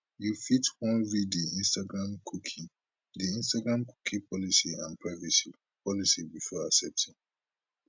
you fit wan read di instagram cookie di instagram cookie policy and privacy policy before accepting